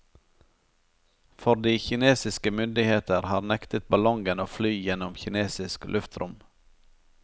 For de kinesiske myndigheter har nektet ballongen å fly gjennom kinesisk luftrom.